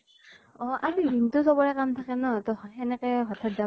অ আৰু দিন টো চবৰে কাম থাকে ন ত সেনেকে হঠাৎ যাব